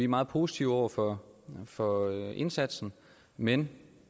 meget positive over for for indsatsen men